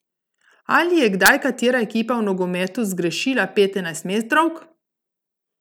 Ali je kdaj katera ekipa v nogometu zgrešila pet enajstmetrovk?